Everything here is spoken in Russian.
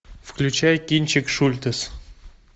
включай кинчик шультес